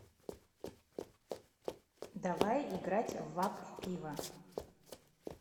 давай играть в апп пиво